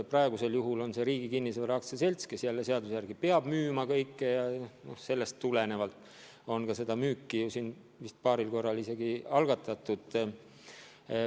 Praegusel juhul on see Riigi Kinnisvara AS, kes seaduse järgi peab kõike müüma, ja sellest tulenevalt on ka seda müüki vist paaril korral isegi algatatud.